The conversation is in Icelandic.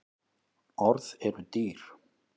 Orð eru dýr